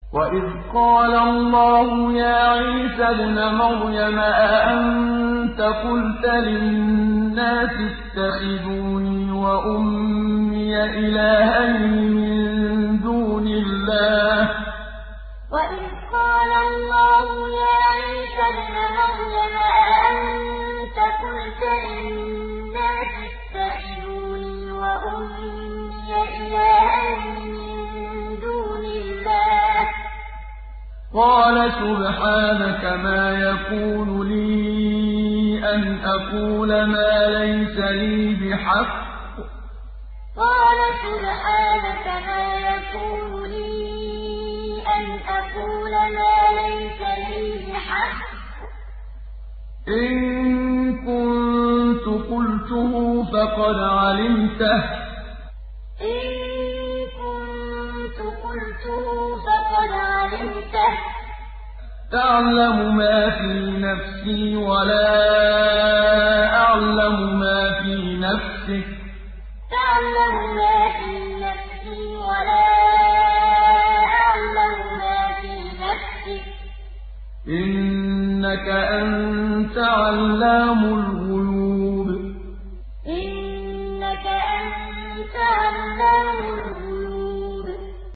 وَإِذْ قَالَ اللَّهُ يَا عِيسَى ابْنَ مَرْيَمَ أَأَنتَ قُلْتَ لِلنَّاسِ اتَّخِذُونِي وَأُمِّيَ إِلَٰهَيْنِ مِن دُونِ اللَّهِ ۖ قَالَ سُبْحَانَكَ مَا يَكُونُ لِي أَنْ أَقُولَ مَا لَيْسَ لِي بِحَقٍّ ۚ إِن كُنتُ قُلْتُهُ فَقَدْ عَلِمْتَهُ ۚ تَعْلَمُ مَا فِي نَفْسِي وَلَا أَعْلَمُ مَا فِي نَفْسِكَ ۚ إِنَّكَ أَنتَ عَلَّامُ الْغُيُوبِ وَإِذْ قَالَ اللَّهُ يَا عِيسَى ابْنَ مَرْيَمَ أَأَنتَ قُلْتَ لِلنَّاسِ اتَّخِذُونِي وَأُمِّيَ إِلَٰهَيْنِ مِن دُونِ اللَّهِ ۖ قَالَ سُبْحَانَكَ مَا يَكُونُ لِي أَنْ أَقُولَ مَا لَيْسَ لِي بِحَقٍّ ۚ إِن كُنتُ قُلْتُهُ فَقَدْ عَلِمْتَهُ ۚ تَعْلَمُ مَا فِي نَفْسِي وَلَا أَعْلَمُ مَا فِي نَفْسِكَ ۚ إِنَّكَ أَنتَ عَلَّامُ الْغُيُوبِ